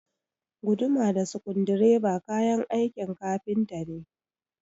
Guduma da sukudireba kayan aikin kafinta ne